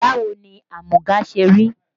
Báwo ni amúga ṣe rí?